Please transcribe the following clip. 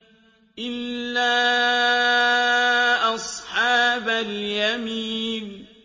إِلَّا أَصْحَابَ الْيَمِينِ